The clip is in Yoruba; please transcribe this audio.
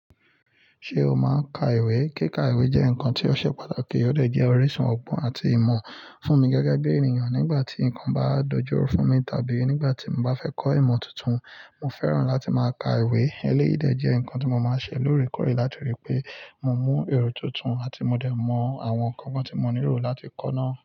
Ṣé o máa n ka ìwé? Kíka ìwé jẹ́ nǹkan tí ó ṣe pàtàkì, ó dẹ̀ jẹ́ ọ̀riṣùn ọgbọ́n àti ìmọ̀ fún mi gẹ́gẹ́ bí ènìyàn nígbà tí nǹkan bá dojúró fún mi tàbí nígbà tí mo bá fẹ́ kọ́ ìmọ̀ tuntun. Mo fẹ́ràn láti máa ka ìwé. Eléyìí dẹ̀ jẹ́ nǹkan tí mo máa ń ṣe lóòrèkóòrè látọ̀rí pé mo mú èrò tuntun àti mo dẹ̀ mọ àwọn nǹkan tí mo nílò láti kọ́ ná.